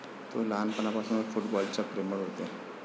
तो लहानपणापासूनच फुटबॉल च्या प्रेमळ होते.